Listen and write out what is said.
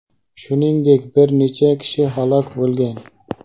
Shuningdek, bir necha kishi halok bo‘lgan.